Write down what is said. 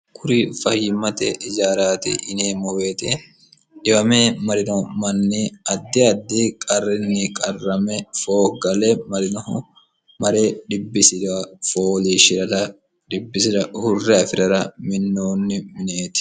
kuri fahiimmate ijaraati ineemmoweeti dhiwame marino manni addi addi qarrinni qarrame fooggale marinoho mare dbbis fooshshir dibbisirurrfi'rara minoonni mineeti